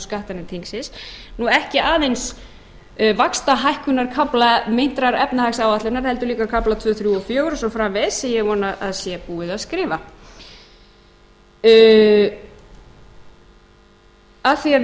skattanefnd þingsins og ekki aðeins vaxtahækkunarkafla meintrar efnahagsáætlunar heldur líka kafla annar þriðji og fjórða og svo framvegis sem ég vona að sé búið að skrifa af því við